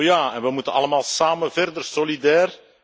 Oh ja, en we moeten allemaal samen verder solidair.